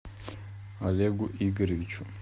олегу игоревичу